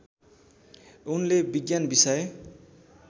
उनले विज्ञान विषय